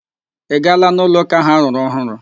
Ị gaala n'ụlo ụka ahụ arụrụ ọhụrụ?